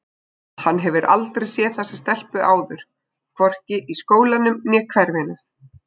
Hann hefur aldrei séð þessa stelpu áður, hvorki í skólanum né hverfinu.